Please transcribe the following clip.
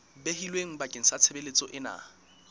behilweng bakeng sa tshebeletso ena